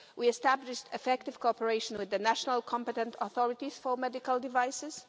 We established effective cooperation with the national competent authorities for medical devices.